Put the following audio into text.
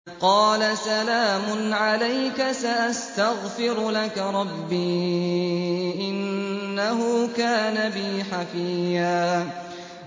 قَالَ سَلَامٌ عَلَيْكَ ۖ سَأَسْتَغْفِرُ لَكَ رَبِّي ۖ إِنَّهُ كَانَ بِي حَفِيًّا